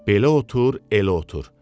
Belə otur, elə otur.